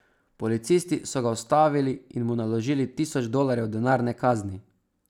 Policisti so ga ustavili in mu naložili tisoč dolarjev denarne kazni.